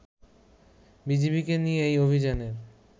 বিজিবিকে নিয়ে এই অভিযানের